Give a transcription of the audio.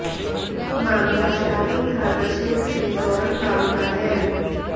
मामला शाहपुर थाना क्षेत्र के सोरम गांव का है